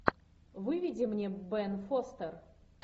выведи мне бен фостер